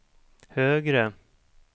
högre